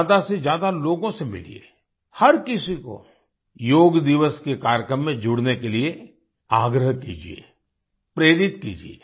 ज्यादा से ज्यादा लोगों से मिलिए हर किसी को योग दिवस के कार्यक्रम में जुड़ने के लिए आग्रह कीजिये प्रेरित कीजिये